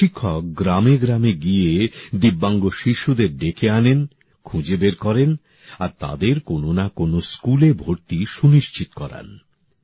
এই শিক্ষক গ্রামে গ্রামে গিয়ে ভিন্নভাবে সক্ষম শিশুদের ডেকে আনেন খুঁজে বের করেন আর তাদের কোনো না কোনো স্কুলে ভর্তি সুনিশ্চিত করান